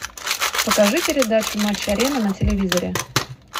покажи передачу матч арена на телевизоре